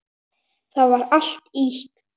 Það var allt ýkt.